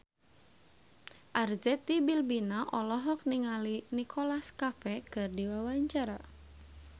Arzetti Bilbina olohok ningali Nicholas Cafe keur diwawancara